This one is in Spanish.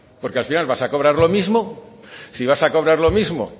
porque al final vas a cobrar lo mismo si vas a cobrar lo mismo